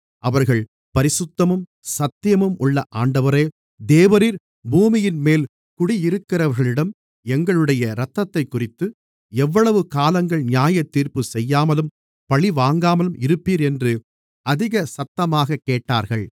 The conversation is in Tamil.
அவர்கள் பரிசுத்தமும் சத்தியமும் உள்ள ஆண்டவரே தேவரீர் பூமியின்மேல் குடியிருக்கிறவர்களிடம் எங்களுடைய இரத்தத்தைக்குறித்து எவ்வளவு காலங்கள் நியாயத்தீர்ப்புச் செய்யாமலும் பழிவாங்காமலும் இருப்பீர் என்று அதிக சத்தமாகக் கேட்டார்கள்